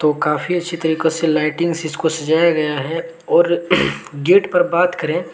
काफी अच्छी तरीको से लाइटिंग से इसको सजाया गया है और गेट पर बात करें--